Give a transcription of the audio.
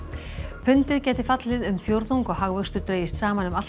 pundið gæti fallið um fjórðung og hagvöxtur dregist saman um allt að